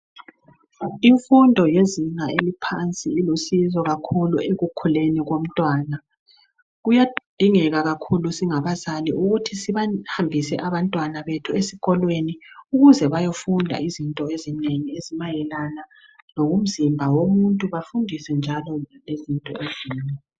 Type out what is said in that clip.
Imfundo yezinga laphansi ilusizo kakhulu ekukhuleni lomntwana kuyadingeka kakhulu ukuthi singabazali sibafundise abantwana esikolweni ukuze beyefunda izinto ezinengi ngomzimba womuntu bafundiswe njalo ngezinto eziningi